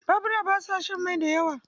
Babura ba sa shan mai da yawa.